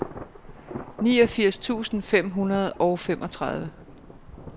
niogfirs tusind fem hundrede og femogtredive